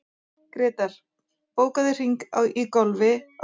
Grétar, bókaðu hring í golf á föstudaginn.